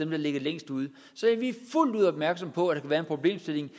der ligger længst ude så vi er fuldt ud opmærksomme på at være en problemstilling